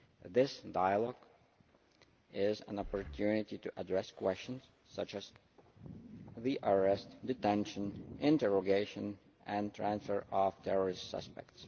This dialogue is an opportunity to address questions such as the arrest, detention, interrogation and transfer of terrorist suspects.